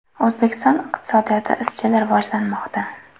O‘zbekiston iqtisodiyoti izchil rivojlanmoqda.